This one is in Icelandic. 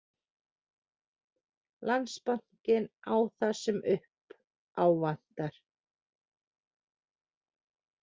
Landsbankinn á það sem upp ávantar